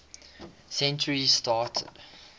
century started